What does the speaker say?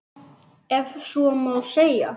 Ef svo má segja.